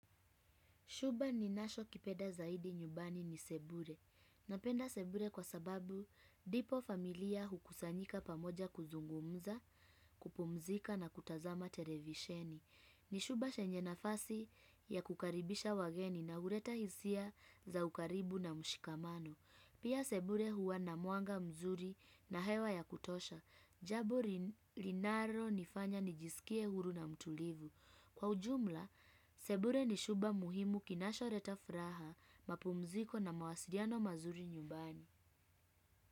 Shuba ni nasho kipeda zaidi nyubani ni sebure. Napenda sebure kwa sababu dipo familia hukusanyika pamoja kuzungumza, kupumzika na kutazama televisheni. Ni shuba shenye nafasi ya kukaribisha wageni na ureta hisia za ukaribu na mshikamano. Pia sebure huwa na mwanga mzuri na hewa ya kutosha. Jabo rilinaro nifanya nijisikie huru na mtulivu. Kwa ujumla, sebure ni shuba muhimu kinashoreta fraha, mapumziko na mawasiriano mazuri nyubani.